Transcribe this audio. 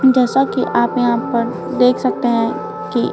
जैसा कि आप यहां पर देख सकते हैं कि--